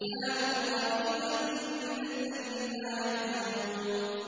كَانُوا قَلِيلًا مِّنَ اللَّيْلِ مَا يَهْجَعُونَ